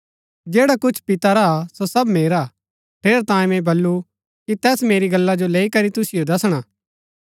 जैडा कुछ पिता रा हा सो सब मेरा हा ठेरैतांये मैंई बल्लू कि तैस मेरी गल्ला जो लैई करी तुसिओ दसणा